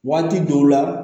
Waati dɔw la